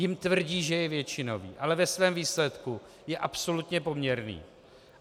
Jim tvrdí, že je většinový, ale ve svém výsledku je absolutně poměrný.